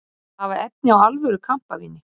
Hafa efni á alvöru kampavíni